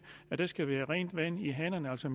at der skal være rent vand i hanerne altså